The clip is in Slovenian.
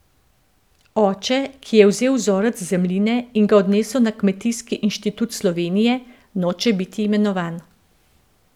Oče, ki je vzel vzorec zemljine in ga odnesel na Kmetijski inštitut Slovenije, noče biti imenovan.